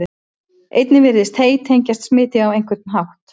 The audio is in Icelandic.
einnig virðist hey tengjast smiti á einhvern hátt